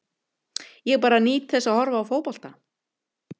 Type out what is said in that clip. Ég bara nýt þess að horfa á fótbolta.